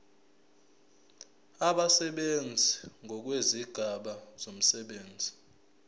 abasebenzi ngokwezigaba zomsebenzi